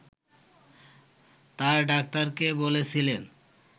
তাঁর ডাক্তারকে বলেছিলেন